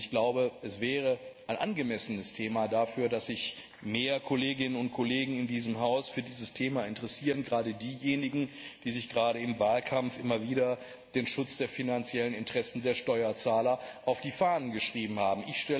Ich glaube, es wäre angemessen, dass sich mehr Kolleginnen und Kollegen in diesem Haus für dieses Thema interessieren, gerade diejenigen, die sich im Wahlkampf immer wieder den Schutz der finanziellen Interessen der Steuerzahler auf die Fahnen geschrieben haben.